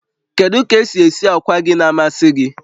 Kedu ka esi esi akwa gị na-amasị gị?